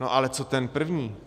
No ale co ten první?